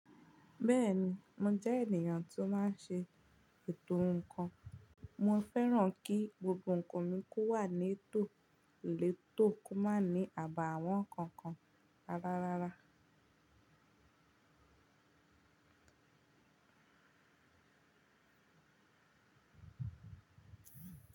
Bẹ́ẹ̀ni, mo jẹ́ ènìyàn tó máa n ṣe ètò ǹnkan. Mo fẹ́ràn kí gbogbo ǹnkan mi kó wà ní ètò, lètò kó má ní àbà àwọn ǹnkan kan rárárara.